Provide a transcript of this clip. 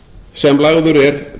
sem lagður er